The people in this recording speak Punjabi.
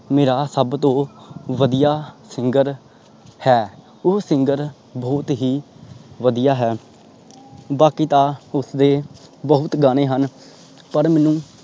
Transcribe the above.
ਮੇਰਾ ਸਬ ਤੋਂ ਵਦੀਆ singer ਹੈ। ਉਹ singer ਬਹੁਤ ਹੀ ਵਦੀਆ ਹੈ ਬਾਕੀ ਤਾ ਉਸਦੇ ਬਹੁਤ ਗਾਣੇ ਹਨ। ਪਰ ਮੈਨੂੰ